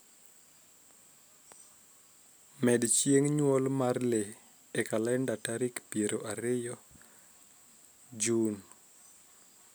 med chieng nyuol mar lee e kalenda tarik piero ariyiga riyo Jun